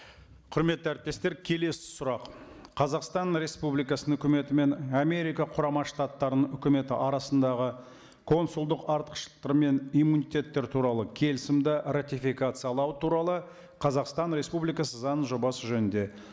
құрметті әріптестер келесі сұрақ қазақстан республикасының өкіметі мен америка құрама штаттарының өкіметі арасындағы консулдық артықшылықтар мен иммунитеттер туралы келісімді ратификациялау туралы қазақстан республикасы заңының жобасы жөнінде